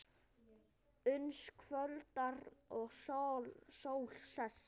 Uns kvöldar og sól sest.